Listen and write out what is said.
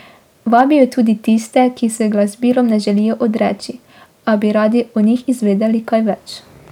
Vabijo tudi tiste, ki se glasbilom ne želijo odreči, a bi radi o njih izvedeli kaj več.